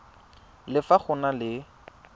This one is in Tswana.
le fa go na le